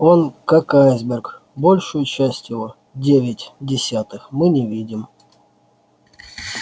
он как айсберг большую часть его девять десятых мы не видим